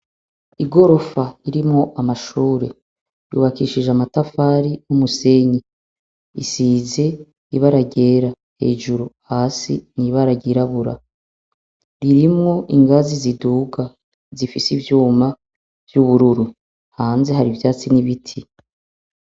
Igorofa irimwo amashure yubakishijwe amatafari numusenyi isize ibara ryera hejuru hasi ibara ryirabura ririmwo ingazi ziduga zifise ivyuma vyubururu hanze hari ivyatsi nibiti